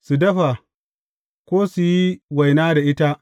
Su dafa, ko su yi waina da ita.